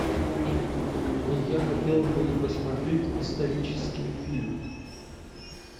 я хотел бы посмотреть исторический фильм